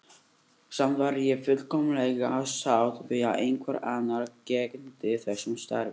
Samt væri ég fullkomlega sátt við að einhver annar gegndi þessu starfi.